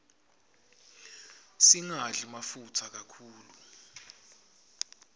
singadli mafutsa kakhulu